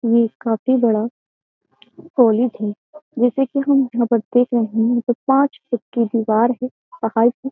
ये काफी बड़ा कॉलेज है। जैसा की हम यहाँ पर देख रहे हैं पांच फुट की दिवार है पहाड़ है।